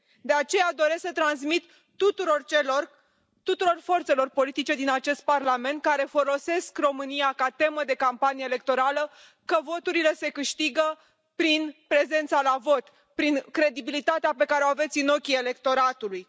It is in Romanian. De aceea, doresc să transmit tuturor forțelor politice din acest Parlament care folosesc România ca temă de campanie electorală, că voturile se câștiga prin prezența la vot, prin credibilitatea pe care o aveți în ochii electoratului.